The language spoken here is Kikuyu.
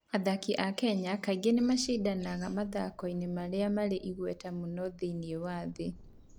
Athaki a Kenya kaingĩ nĩ macindanagia mathako-inĩ marĩa marĩ igweta mũno thĩinĩ wa thĩ.